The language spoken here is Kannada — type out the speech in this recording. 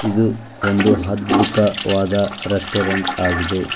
ಇದು ಒಂದು ಅದ್ಭುತವಾದ ರೆಸ್ಟೋರೆಂಟ್ ಆಗಿದೆ.